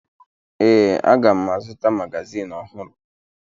Ee, aga m azụta magazin ọhụrụ